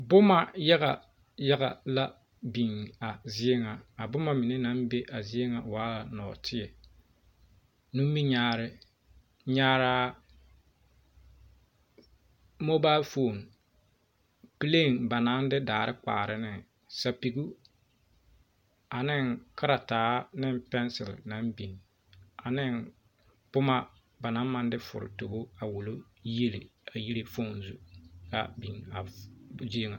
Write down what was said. Boma yagayaga la biŋ a zie ŋa, a boma mine naŋ be a zie ŋa waa nɔɔteɛ, nimirinyaare, nyaara, mobile phone, plane ba naa de daare kpaara ne, sapigɔ, ane karaataa ne pencil naŋ biŋ ane boma ba naŋ maŋ de furi tobo, a wulo yiele a yiri foom Zu a biŋ a zie ŋa.